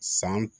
San